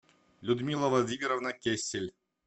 людмила владимировна кессель